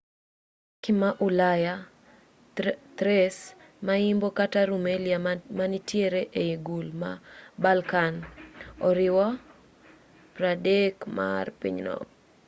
turkey ma ulaya thrace ma imbo kata rumelia manitiere ei gul ma balkan oriwo 3% mar pinyno